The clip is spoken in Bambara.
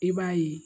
I b'a ye